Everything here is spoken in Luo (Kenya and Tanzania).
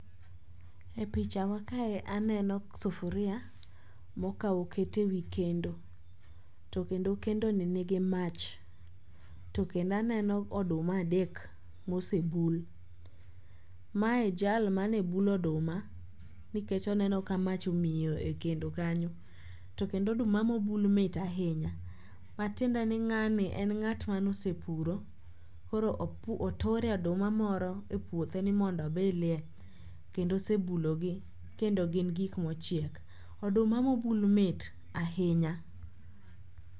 E picha makae aneno sufuria mokaw oket e wi kendo to kendo kendoni nigi mach. To kendo aneno oduma adek mosebul. Mae jal mane bulo oduma nikech oneno ka mach miyo e kendo kanyo to kendo oduma mobul mit ahinya matiende ni ng'ani en ng'at ma nosepuro koro oture oduma moro e puothe ni mondo obilie kendo osebulogi kendo gin gik mochiek. Oduma mobul mit ahinya.